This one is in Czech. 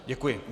Děkuji.